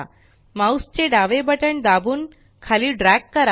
mouse चे डावे button दाबून खाली ड्रॅग करा